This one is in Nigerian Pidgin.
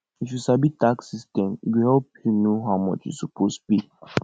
if you sabi tax system e go help you know how much you suppose pay